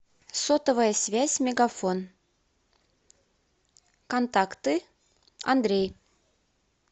сотовая связь мегафон контакты андрей